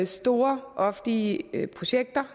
store offentlige projekter